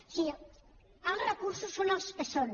o sigui els recursos són els que són